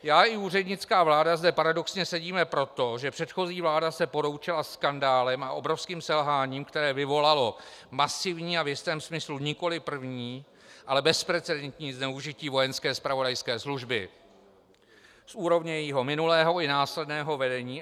Já i úřednická vláda zde paradoxně sedíme proto, že předchozí vláda se poroučela skandálem a obrovským selháním, které vyvolalo masivní a v jistém smyslu nikoliv první, ale bezprecedentní zneužití vojenské zpravodajské služby z úrovně jejího minulého i následného vedení.